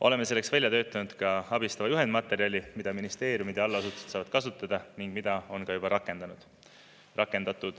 Oleme selleks välja töötanud ka abistava juhendmaterjali, mida ministeeriumide allasutused saavad kasutada ning mida on rakendatud.